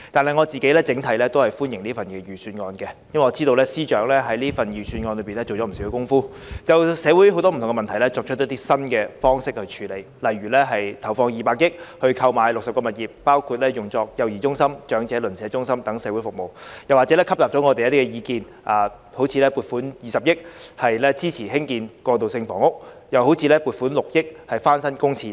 不過，整體而言，我個人仍歡迎這份預算案，因為我知道司長在預算案中下了不少工夫，就不同的社會問題提出新的處理方式，例如投放200億元購買60項物業，用作幼兒中心和長者鄰舍中心等社會服務，以及吸納了我們的建議，撥款20億元支持興建過渡性房屋，並撥款6億元翻新公廁等。